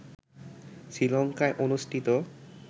শ্রীলঙ্কায় অনুষ্ঠিত